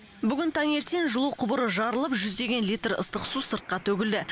бүгін таң ертең жылу құбыры жарылып жүздеген литр ыстық су сыртқа төгілді